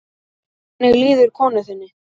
Hvernig líður konu þinni?